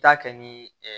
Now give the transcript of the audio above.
Taa kɛ ni